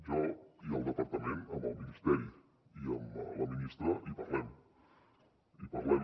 jo i el departament amb el ministeri i amb la ministra hi parlem hi parlem